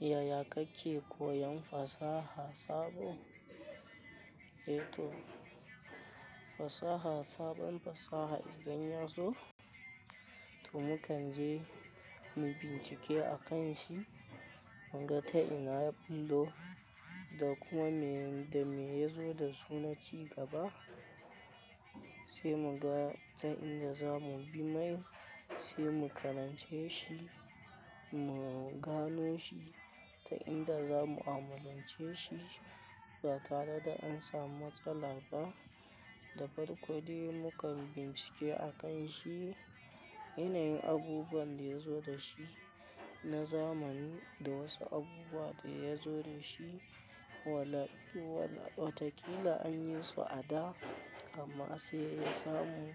Yaya kake koyan fasaha sabo? Eh to, fasaha sabon fasaha idan ya zo to mu kan je mu bincike a kan shi, mun ga ta ina yabillo da kuma me da me ya zo da su naci gaba. Te mu ga, ta inda za mu bi mai se mu karance shi, mu gano shi ta inda za mu amalance shi ba tare da an samu matsala ba. Da farko de mu kan bincike a kan shi, yanayin abubuwan da ya zo da shi na zamani da wasu abubuwa da ya zo da shi. Wala-wala watakila an yi su a da amma se ya samu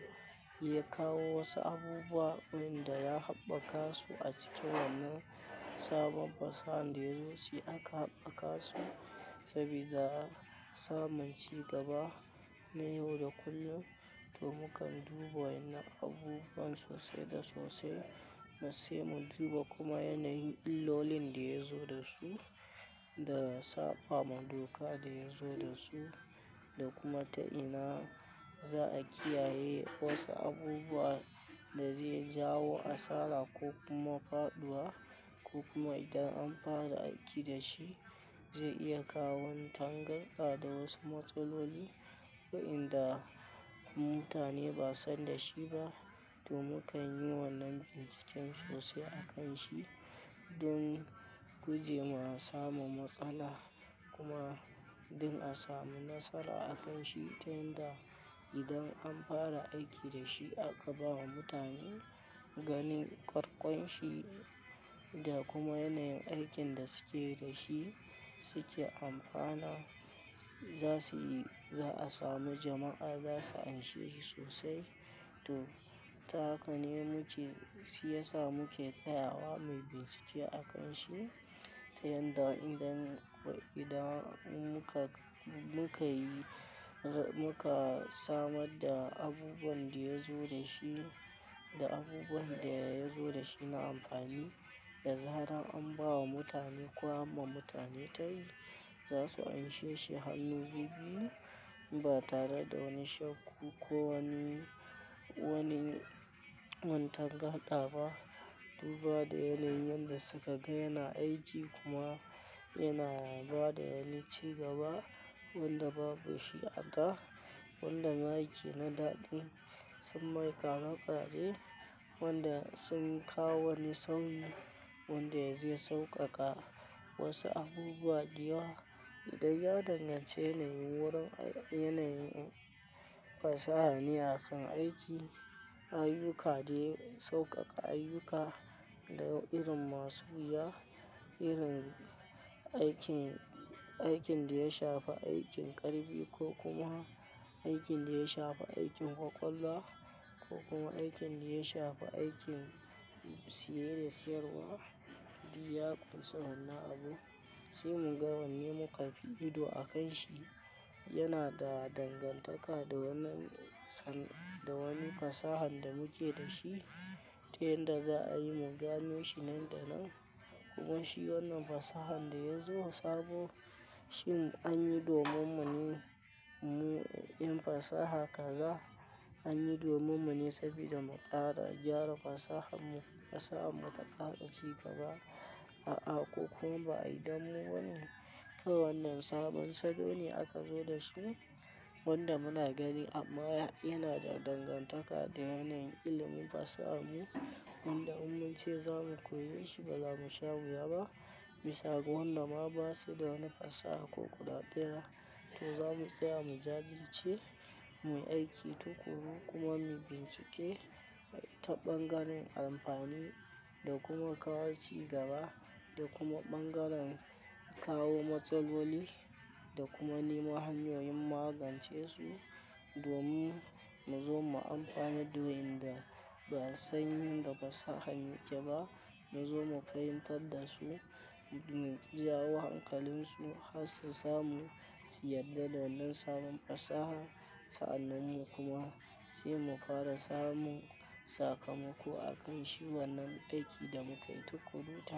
ya kawo wasu abubuwa wanda ya habɓaka su a cikin wannan sabon fasahan da ya zo se aka habɓaka su sabida samun ci gaba na yau da kullun. To mu kan duba wa'inna abubuwan sose da sose na se mu diba kuma yanayin illolin da ya zo da su da sapa ma doka da ya zo da su. Da kuma ta ina za a kiyaye wasu abubuwa da ze jawo asara kokuma faduwa ko kuma idan an para aiki da shi ze iya kawan tangarda da wasu matsaloli wa'inda mutane ba san da shi ba. To mu kan yi wannan binciken sose a kan shi don guje ma samun matsala kuma din a samu nasara a kan shi ta yanda idan ampara aiki da shi aka ba wa mutane ganin karkon shi da kuma yanayin aikin da sike dashi sike ampana za sui-za a samu jama'a zasu anshe shi sose to, tahakane muke si yasa muke tsayawa mi bincike a kan shi ta yanda idan wa idan inmuka, muka yi, muka samadda abubuwan da ya zo da shi, da abubuwan da ya zo da shi na amfani da zaran an ba wa mutane, ko anma mutane tayi za su anshe shi hannu bibbiyu ba tara da wani shakku ko wani, wani wantangarɗa ba. Duba da yanayin yanda suka ga yana aiki kuma yana ba da yanici gaba wanda babu shi a da wanda make na daɗin sun maikade kaɗe wanda sun kawo wani sauyi wanda yazi sauƙaƙa wasu abubuwa da yawa da ya danganci yanayin wurin-ai, yanayin pasaha ne a kan aiki, ayyuka de soƙaƙa ayyuka da irin masu wuya, irin aikin, aikin da ya shafi aikin ƙarfi ko kuma aikin da ya shafi aikin kwakwalwa ko kuma aikin da ya shafi aikin siye da siyarwa Diyya kunsa wannan abun se mu ga wanne muka fi ido a kan shi. Yana da dangantaka da wannan san da wani fasahan da muke da shi ta yanda za a yi mu gano shi nan da nan. Kuma shi wannan fasahan da ya zo sabo shin an yi domin mu ne mu, yin fasaha kaza. An yi domin mu ne sabida mu ƙara gyara fasahan mu, fasahan mu ta ƙara ci gaba a'a ko kuma ba a yi danmu bane, ka wannan sabon salone aka zo da shi wanda muna gani amma ya yana da dangantaka da yanayin ilimin fasahan mu. Wanda in mun ce za mu koye shi ba za mu sha wuya ba. Bisha ga wanda ma basuda wani fasaha ko guda daya to za mu tsaya mu jajirce, mui aiki tukuru kuma mi bincike ta ɓangaren ampani da kuma kawo ci gaba da kuma ɓangaran kawo matsaloli da kuma nemo hanyoyin magance su domin mu zo mu ampanadda wa'inda ba a san yanda fasahan yake ba. Munzo mu fahintadda su mu jawo hankalinsu hassi samu siyadda da wannan saban fasaha sa'annan mu kuma se mukara samun sakamako akan shi wannan aiki da mukai tukuru ta.